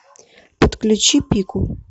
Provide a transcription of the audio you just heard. подключи пику